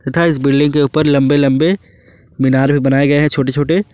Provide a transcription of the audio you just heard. तथा इस बिल्डिंग के ऊपर लंबे लंबे मीनार भी बनाए गए हैं छोटे छोटे।